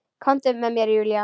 Komdu með mér Júlía.